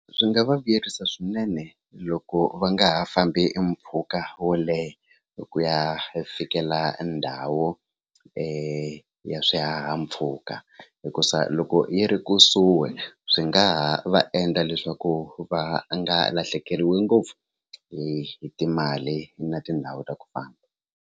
Swi nga va vuyerisa swinene loko va nga ha fambi mpfhuka wo leha hi ku ya hi fikela ndhawu ya swihahampfhuka hikusa loko yi ri kusuhi swi nga ha va endla leswaku va nga lahlekeriwi ngopfu hi timali na tindhawu ta ku famba.